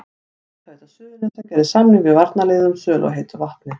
Hitaveita Suðurnesja gerði samning við varnarliðið um sölu á heitu vatni.